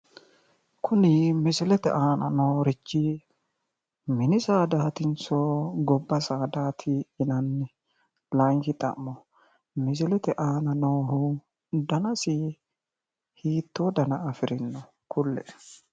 Kuni misilete aana noorichi mini saadaatinso gobba saadaati yinanni? Layinki xa'mo misiletr aana noohu danasi hiittoo dana afirino kulle'e?